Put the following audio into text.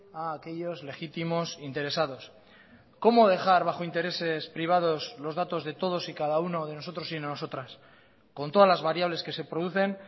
a aquellos legítimos interesados cómo dejar bajo intereses privados los datos de todos y cada uno de nosotros y nosotras con todas las variables que se producen